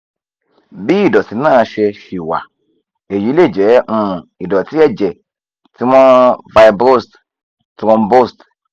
bí ìdọ̀tí náà ṣe ṣì wà èyí lè jẹ́ um ìdọ̀tí ẹ̀jẹ̀ tí wọ́n fibrosed thrombosed